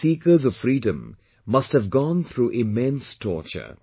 These seekers freedom must have gone through immense torture